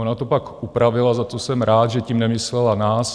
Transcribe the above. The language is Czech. Ona to pak upravila, za to jsem rád, že tím nemyslela nás.